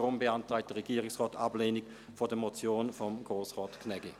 Deshalb beantragt der Regierungsrat Ablehnung der Motion von Grossrat Gnägi .